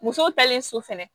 Musow talen so fɛnɛ